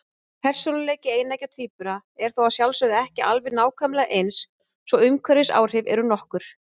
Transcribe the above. Persónuleiki eineggja tvíbura er þó að sjálfsögðu ekki alveg nákvæmlega eins, svo umhverfisáhrif eru nokkur.